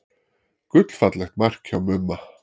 Gullfallegt mark hjá Mumma.